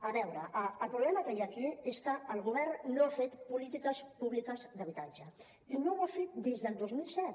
a veure el problema que hi ha aquí és que el govern no ha fet polítiques públiques d’habitatge i no ho ha fet des del dos mil set